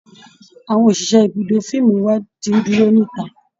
Àwọn òṣìṣẹ́ ibùdó fíìmù wa ti ń dúró níta